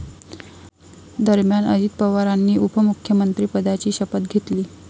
दरम्यान, अजित पवारांनी उपमुख्यमंत्रिपदाची शपथ घेतली.